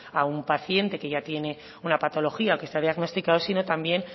a un paciente que ya tiene una patología o que está diagnosticado sino también